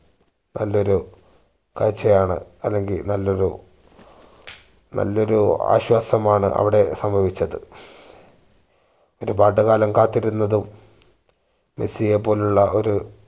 നാല്ലൊരു കാഴ്ച ആണ് അല്ലെങ്കി നല്ലൊരു നല്ലൊരു ആശ്വാസമാണ് അവിടെ സംഭവിച്ചത് ഒരുപാട് കാലം കാത്തിരുന്നതും മെസ്സിയെ പോലുള്ള ഒരു